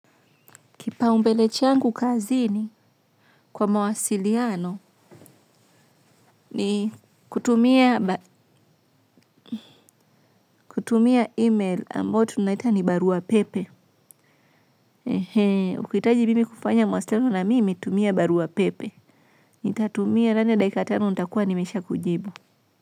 Kipa umbele changu kazini kwa mawasiliano ni kutumia email ambayo tunaita ni baruapepe. He hee, ukihitaji bibi kufanya mawasiliano na mimi tumia Barua Pepe. Nitatumia ndani ya dakika tano nitakuwa nimesha kujibu.